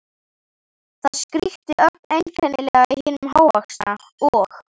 Það skríkti ögn einkennilega í hinum hávaxna, og